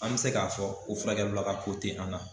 An bɛ se k'a fɔ o furakɛlila ka ko tɛ an na